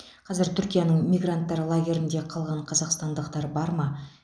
қазір түркияның мигранттар лагерінде қалған қазақстандықтар бар ма